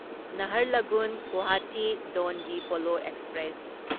Naharlagun Guwahati Donyi Polo express